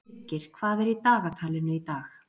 Birgir, hvað er í dagatalinu í dag?